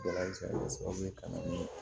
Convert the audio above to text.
ka na ni